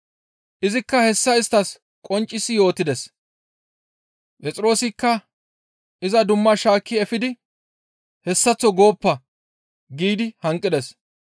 Izikka hessa isttas qonccisi yootides, Phexroosikka iza dumma shaakki efidi, «Hessaththo gooppa!» giidi hanqides.